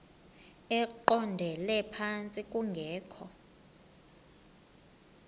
eqondele phantsi kungekho